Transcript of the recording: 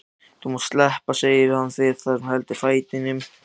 Þú mátt sleppa, segir hann við þann sem heldur fætinum.